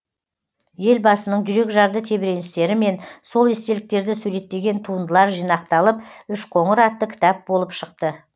елбасының жүрекжарды тебіреністері мен сол естеліктерді суреттеген туындылар жинақталып үшқоңыр атты кітап болып шықты